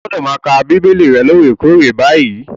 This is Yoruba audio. Ó gbọ́dọ̀ máa ka Bíbélì rẹ lóòrèkoòrè báyìí.